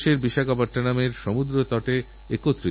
ওঁরা একটা বেশ বড় অ্যালবাম নিয়ে এসেছিলেন আমাকে তার থেকে ছবি দেখালেন